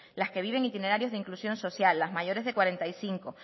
las que viven itinerarios de inclusión social las mayores de cuarenta y cinco